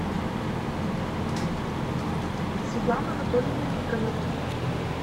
светлана анатольевна никонова